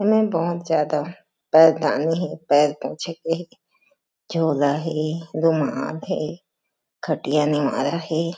एमा बहोत ज़्यादा पैरदानी हे पैर पोंछे के हे झोला हे रुमाल हे खटिया नेवारा हे।